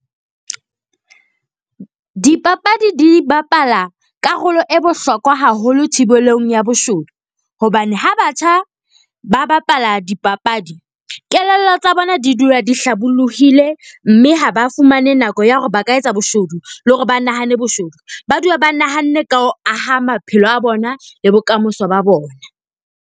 Dipapadi di bapala karolo e bohlokwa haholo thibelong ya boshodu. Hobane ha batjha ba bapala dipapadi, kelello tsa bona di dula di hlabollohile. Mme ha ba fumane nako ya hore ba ka etsa boshodu le hore ba nahane boshodu. Ba dula ba nahanne ka ho aha maphelo a bona le bokamoso ba bona.